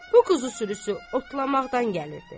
Bu quzu sürüsü otlamaqdan gəlirdi.